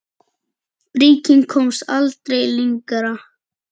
Bríkin komst aldrei lengra.